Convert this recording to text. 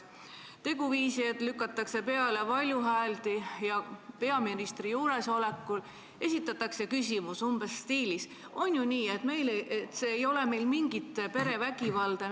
Kuidas te suhtute teguviisi, et lükatakse peale valjuhääldi ja peaministri juuresolekul esitatakse küsimus umbes sellises stiilis: "On ju nii, et meil ei ole mingit perevägivalda?